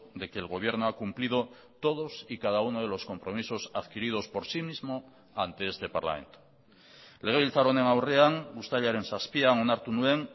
de que el gobierno ha cumplido todos y cada uno de los compromisos adquiridos por sí mismo ante este parlamento legebiltzar honen aurrean uztailaren zazpian onartu nuen